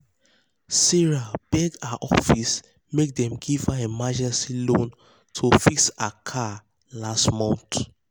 sarah beg her office make dem give her emergency loan to fix her car last month.